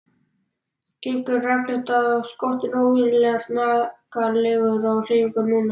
Gengur rakleitt að skottinu, óvenjulega snaggaralegur í hreyfingum núna.